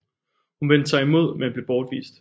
Hun vendte sig imod men blev bortvist